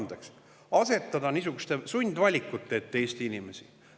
–, et asetada Eesti inimesed niisuguste sundvalikute ette?